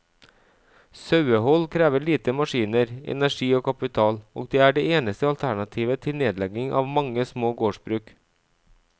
Sauehold krever lite maskiner, energi og kapital, og er det eneste alternativet til nedlegging av mange små gårdsbruk.